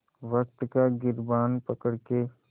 वक़्त का गिरबान पकड़ के